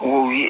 O ye